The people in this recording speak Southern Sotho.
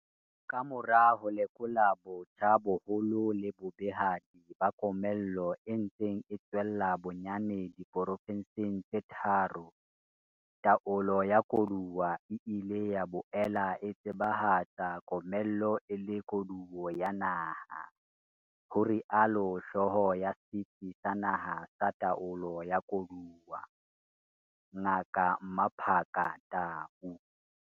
"Ka mora ho lekola botjha boholo le bobehadi ba komello e ntseng e tswella bonyane di porofenseng tse tharo, taolo ya koduwa e ile ya boela e tseba hatsa komello e le koduwo ya naha, ho rialo hlooho ya Setsi sa Naha sa Taolo ya Koduwa, Ngaka Mmaphaka Tau."